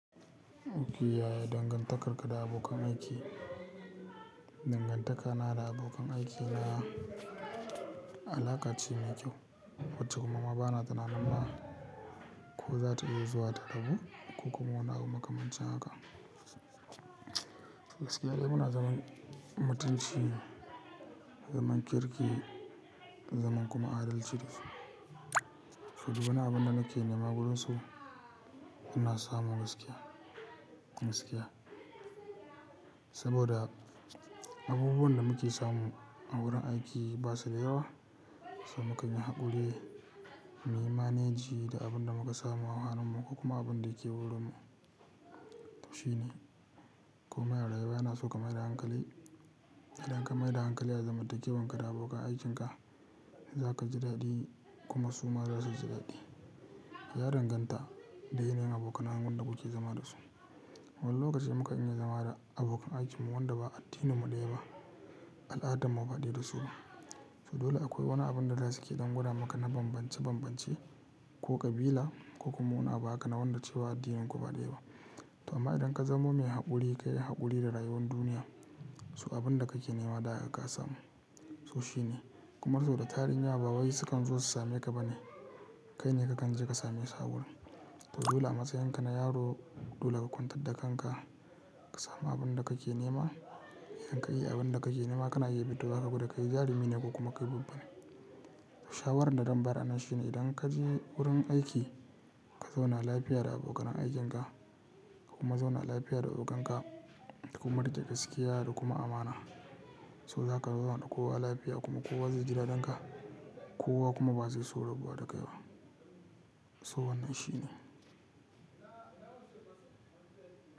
Nufi yaya dangantakarka da abokan aiki? Dangantakana da abokan aiki na alaƙa ce mai kyau wacce kuma maba na tunanin ma ko za ta iya zuwa ta rabu ko kuma wani abu makamancin haka. Gaskiya dai muna zaman mutunci, zaman kirki, zaman kuma adalci. Saboda duk wani abun da nake nema gurunsu ina samu gaskiya, gaskiya. Saboda abubuwan da muke samu a wurin aiki basu da yawa, so mukanyi haƙuri, muyi maneji da abunda muka samu, ahaninmu ko kuma abinda yake wurinmu. Shi ne komai da rayuwa yana so ka maida hankali, idan ka maida hankali a zamantakewanka da abokan aikinka, za kaji daɗi kuma su ma zasu ji daɗi. Ya danganta da yanayin abokanan wanda kuke zama dasu. Wani lokaci muka iya zama da abokan aikinmu wanda ba addininmu ɗaya ba, al'adarmu ba ɗaya da su. So dole akwai wani abun da zasuke dangwada maka na bambance bambance ko ƙabila ko kuma wani abu haka na wanda cewa addininku ba ɗaya ba. Amma idan ka zamo mai haƙuri, ka yi haƙuri da rayuwar duniya, so abinda kake nema da haka ka samu. So shi ne, kuma saboda tarihin yawa ba wai sukan zo su same ka bane, kai ne kakan je ka samesu awurin. So dole a matsayin ka na yaro dole ka kwantar da kanka, ka samu abinda kake nema. Idan ka iya abinda kake nema kana iya fitowa ka gwada, kai jarumi ne ko kuma kai babbane. Shawarar da zan bayar anan shi ne idan kaje wurin aiki, ka zauna lafiya da abokanan aikinka kuma zauna lafiya da ogan ka. Ka kuma riƙe gaskiya da kuma amana. So zaka zauna da kowa lafiya kuma kowa zai ji daɗin ka, kowa kuma ba zai so rabuwa da kai ba. So wannan shi ne.